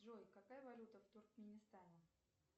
джой какая валюта в туркменистане